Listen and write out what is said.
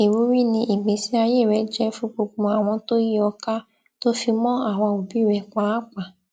ìwúrí ni ìgbésí ayé rẹ jẹ fún gbogbo àwọn tó yìí ò kà tó fi mọ àwa òbí rẹ pàápàá